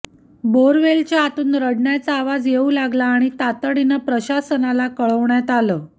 बोअरवेलच्या आतून रडण्याचा आवाज येऊ लागला आणि ताततडीनं प्रशासनाला कळवण्यात आलं